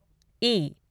ई